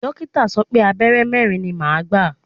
Dókítà sọ pé Abẹ́rẹ́ mẹ́rin ni màá gbà.